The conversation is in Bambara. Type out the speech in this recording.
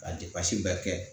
Ka bɛɛ kɛ